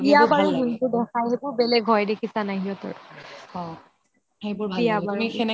যোনটো দেখাই বেলেগ হয় দেখিছা নে নাই সিহতৰ বিয়া বাৰু